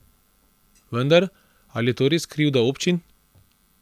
Vendar, ali je to res krivda občin?